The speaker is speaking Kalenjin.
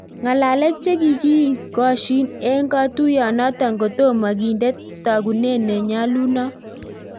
Ngalek chekikikosyiin eng katuiyoo notok kotomo kindee tagunet ne nyalunot